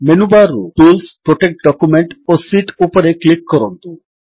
menu bar ରୁ tools protect document ଓ sheet ଉପରେ କ୍ଲିକ୍ କରନ୍ତୁ